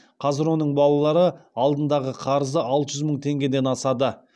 қазір оның балалары алдындағы қарызы алты жүз мың теңгеден асады